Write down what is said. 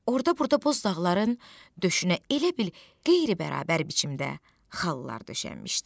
Orda-burda boz dağların döşünə elə bil qeyri-bərabər biçimdə xallar döşənmişdi.